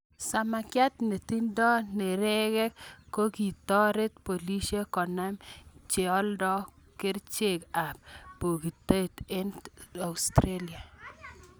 Samakiat netindo nerekek kokitoret polisiek konam cheolda kerchek ab bogitotet Australia.